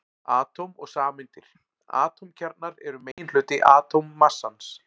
Atóm og sameindir Atómkjarnar eru meginhluti atómmassans.